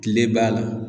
Kile b'a la